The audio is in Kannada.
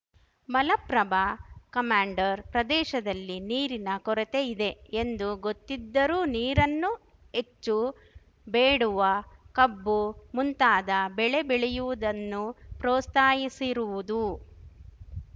ಮಲಪ್ರಭಾ ಕಮಾಂಡರ್ ಪ್ರದೇಶದಲ್ಲಿ ನೀರಿನ ಕೊರತೆ ಇದೆ ಎಂದು ಗೊತ್ತಿದ್ದರೂ ನೀರನ್ನು ಹೆಚ್ಚು ಬೇಡುವ ಕಬ್ಬು ಮುಂತಾದ ಬೆಳೆ ಬೆಳೆಯುವುದನ್ನು ಪ್ರೋಸ್ತಾಹಿಸಿರುವುದು